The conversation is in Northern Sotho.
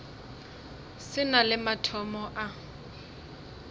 se na le mathomo a